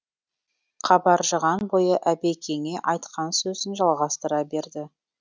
қабаржыған бойы әбекеңе айтқан сөзін жалғастыра берді